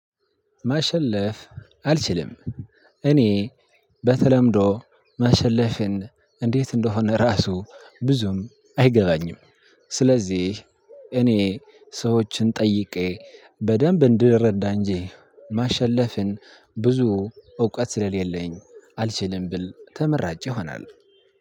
ማሸለፍ አልችልም። እኔ በተለምዶ ማሸለፍን እንዴት እንደሆነ ራሱ ብዙም አይገባኝም። ስለዚህ እኔ ሰዎችን ጠይቄ በደንብ እንድረዳ እንጂ ማሸለፍን ብዙ እውቀት ስለሌለኝ አልችልም ብል ተመራጭ ይሆናል።